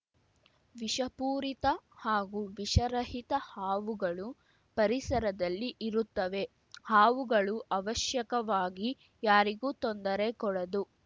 ವಿಷಪೂರಿತ ಹಾಗೂ ವಿಷರಹಿತ ಹಾವುಗಳು ಪರಿಸರದಲ್ಲಿ ಇರುತ್ತವೆ ಹಾವುಗಳು ಅವಶ್ಯಕವಾಗಿ ಯಾರಿಗೂ ತೊಂದರೆ ಕೊಡದು